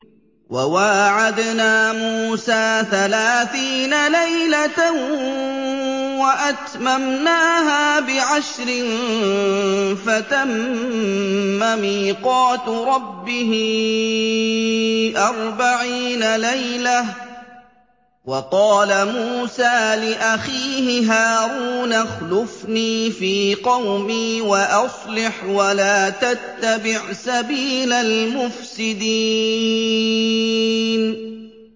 ۞ وَوَاعَدْنَا مُوسَىٰ ثَلَاثِينَ لَيْلَةً وَأَتْمَمْنَاهَا بِعَشْرٍ فَتَمَّ مِيقَاتُ رَبِّهِ أَرْبَعِينَ لَيْلَةً ۚ وَقَالَ مُوسَىٰ لِأَخِيهِ هَارُونَ اخْلُفْنِي فِي قَوْمِي وَأَصْلِحْ وَلَا تَتَّبِعْ سَبِيلَ الْمُفْسِدِينَ